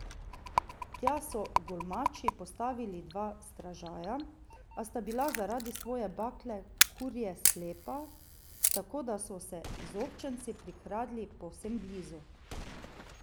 Tja so Glumači postavili dva stražarja, a sta bila zaradi svoje bakle kurje slepa, tako da so se izobčenci prikradli povsem blizu.